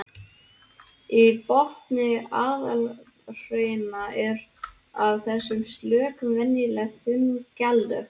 Í botni apalhrauna eru af þessum sökum venjulega þunn gjalllög.